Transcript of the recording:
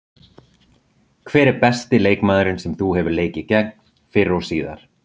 Hver er besti leikmaðurinn sem þú hefur leikið gegn, fyrr og síðar?